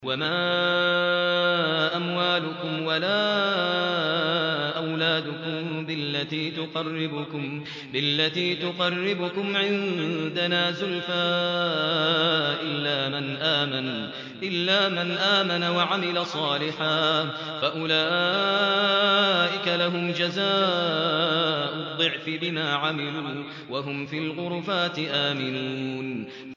وَمَا أَمْوَالُكُمْ وَلَا أَوْلَادُكُم بِالَّتِي تُقَرِّبُكُمْ عِندَنَا زُلْفَىٰ إِلَّا مَنْ آمَنَ وَعَمِلَ صَالِحًا فَأُولَٰئِكَ لَهُمْ جَزَاءُ الضِّعْفِ بِمَا عَمِلُوا وَهُمْ فِي الْغُرُفَاتِ آمِنُونَ